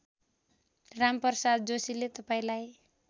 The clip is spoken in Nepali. रामप्रसाद जोशीले तपाईँलाई